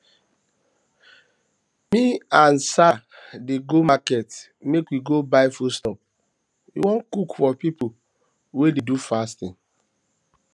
me and sir dey go market make we go buy foodstuff we wan cook for people wey dey do fasting